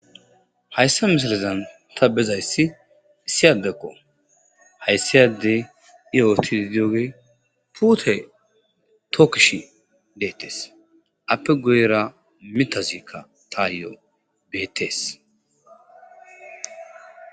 Hayssa mishilezan ta bezayssi issi addekko hayssi addey i oottiddi diyoge puute tookkishi deettes.appe guyera mitazikka taayo beettees